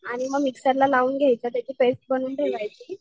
आणि मग मिक्सर ला लावून घ्यायचं, त्याची पेस्ट करून ठेवायची.